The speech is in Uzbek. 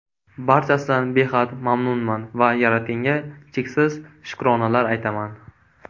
Barchasidan behad mamnunman va Yaratganga cheksiz shukronalar aytaman!